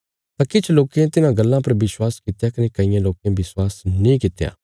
तां किछ लोकें तिन्हां गल्लां पर विश्वास कित्या कने कईयें लोकें विश्वास नीं कित्या